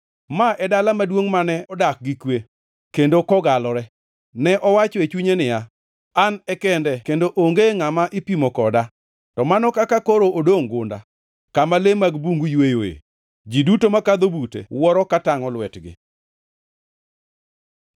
Ma e dala maduongʼ mane odak gi kwe, kendo kogalore. Ne owacho e chunye niya, “An e kende kendo onge ngʼama ipimo koda.” To mano kaka koro odongʼ gunda, kama le mag bungu yweyoe. Ji duto makadho bute wuoro ka tangʼo lwetgi.